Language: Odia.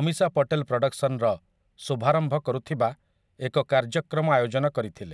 ଅମୀଶା ପଟେଲ୍ ପ୍ରଡକ୍ସନ୍ର ଶୁଭାରମ୍ଭ କରୁଥିବା ଏକ କାର୍ଯ୍ୟକ୍ରମ ଆୟୋଜନ କରିଥିଲେ ।